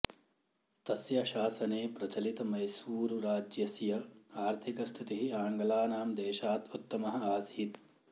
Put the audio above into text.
तस्य शासने प्रचलित मैसूरु राज्यस्य आर्थिकस्थितिः आङ्गलानां देशात् उत्तमः आसीत्